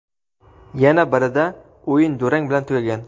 yana birida o‘yin durang bilan tugagan.